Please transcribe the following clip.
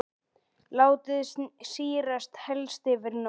Látið sýrast helst yfir nótt.